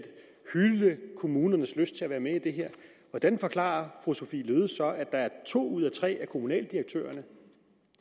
hylde kommunernes lyst til at være med i det her hvordan forklarer fru sophie løhde så at der er to ud af tre kommunaldirektører